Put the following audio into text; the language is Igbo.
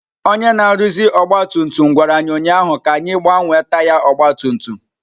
Onye na-arụzi ọgba tum tum gwara anyị ụnyaahụ ka anyị gbanwee taya ọgba tum tum.